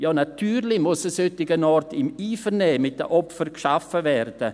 Ja, natürlich muss ein solcher Ort im Einvernehmen mit den Opfern geschaffen werden.